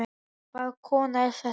Hvaða kona er þetta?